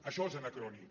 això és anacrònic